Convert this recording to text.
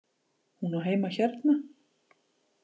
Hún á heima hérna!